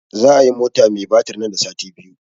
Za a yi mota mai batir nan da sati biyu